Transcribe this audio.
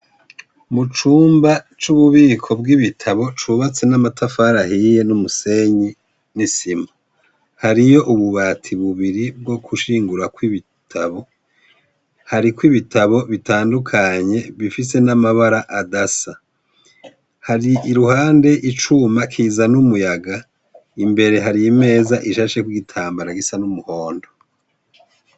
Mu cumba c'ububiko bw'ibitabo cubatse n'amatafarahiye n'umusenyi n'isima, hariyo ububati bubiri bwo gushingura ko ibitabo, hariko ibitabo bitandukanye bifise n'amabara adasa, hari i ruhande icuma kizan'umwe yaga, imbere hari imeza ishasheko igitambara gisa n'umuhondo.